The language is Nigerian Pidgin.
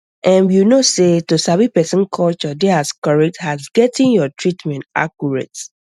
erm you know sey to sabi person culture dey as correct as getting your treatment accurate